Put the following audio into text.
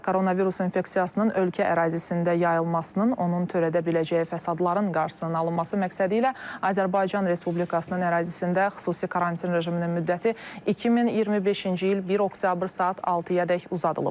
Koronavirus infeksiyasının ölkə ərazisində yayılmasının, onun törədə biləcəyi fəsadların qarşısının alınması məqsədilə Azərbaycan Respublikasının ərazisində xüsusi karantin rejiminin müddəti 2025-ci il 1 oktyabr saat 6-yadək uzadılıb.